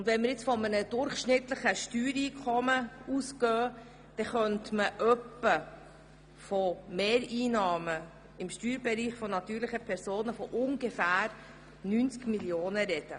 Ausgehend von einem durchschnittlichen Steuereinkommen könnte man etwa von Mehreinnahmen im Steuerbereich natürlicher Personen von etwa 90 Mio. sprechen.